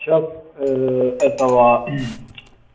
сейчас этого мм